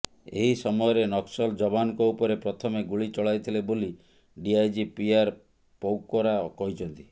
ଏହି ସମୟରେ ନକ୍ସଲ ଯବାନଙ୍କ ଉପରେ ପ୍ରଥମେ ଗୁଳି ଚଳାଇଥିଲେ ବୋଲି ଡିଆଇଜି ପିଆର ପୌକରା କହିଛନ୍ତି